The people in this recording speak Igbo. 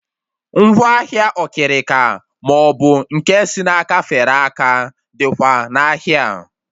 Ngwaahịa okirika maọbụ nke si n'aka fere aka dịkwa n'ahịa a